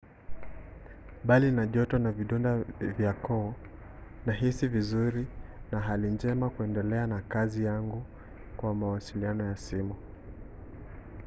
"bali na joto na vidonda vya koo nahisi vizuri na hali njema kuendelea na kazi yangu kwa mawasiliano ya simu